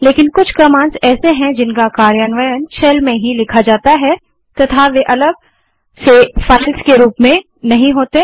लेकिन कुछ कमांड्स ऐसी हैं जिनका कार्यान्वयन शेल में ही लिखा जाता है तथा वे अलग फाइल्स के रूप में नहीं होती